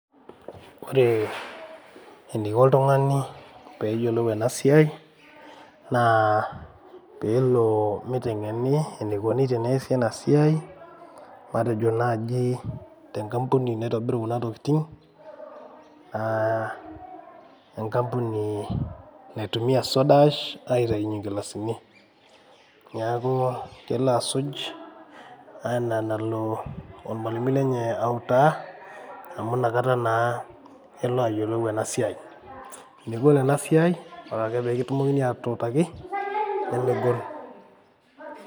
Ore eniko oltung'ani peyiolou enasiai, naa pelo miteng'eni enikoni teneesi enasiai, matejo naji tenkampuni naitobiru kuna tokiting, ah enkampuni naitumia soda ash aitaunye nkilasini. Neeku kelo asuj, ana enalo ormalimui lenye autaa, amu nakata naa elo ayiolou enasiai. Megol enasiai, ore ake pikitumokini atuutaki, nemegol.